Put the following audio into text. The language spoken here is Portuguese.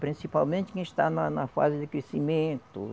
Principalmente quem está na na fase de crescimento.